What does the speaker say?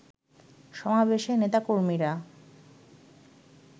সমাবেশে নেতাকর্মীরা